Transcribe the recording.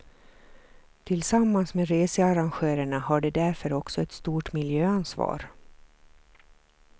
Tillsammans med researrangörerna har de därför också ett stort miljöansvar.